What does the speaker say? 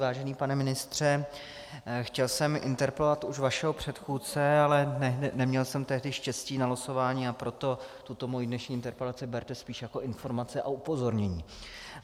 Vážený pane ministře, chtěl jsem interpelovat už vašeho předchůdce, ale neměl jsem tehdy štěstí na losování, a proto tuto mou dnešní interpelaci berte spíš jako informaci a upozornění.